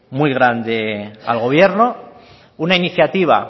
muy grande al gobierno una iniciativa